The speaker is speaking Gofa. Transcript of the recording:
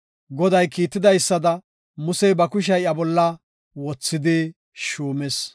Goday kiitidaysada Musey ba kushiya iya bolla wothidi shuumis.